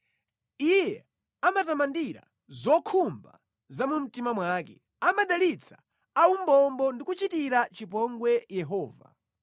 Iye amatamandira zokhumba za mu mtima wake; amadalitsa aumbombo ndi kuchitira chipongwe Yehova.